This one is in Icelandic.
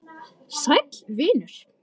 Sæll vinur